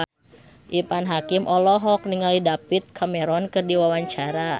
Irfan Hakim olohok ningali David Cameron keur diwawancara